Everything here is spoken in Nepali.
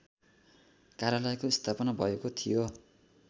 कार्यालयको स्थापना थियो